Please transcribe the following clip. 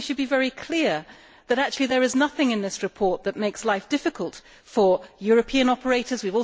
So we should be very clear that there is nothing in this report that makes life difficult for European operators.